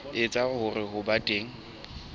etsa hore ho be teng